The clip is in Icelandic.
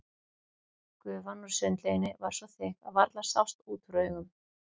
Gufan úr sundlauginni var svo þykk að varla sást út úr augum.